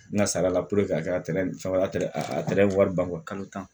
N ka sara la a kɛra wari ban